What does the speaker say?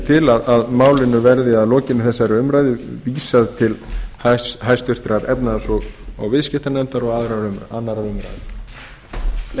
til að málinu verði að lokinni þessari umræðu vísað til háttvirtrar efnahags og viðskiptanefndar og annarrar umræðu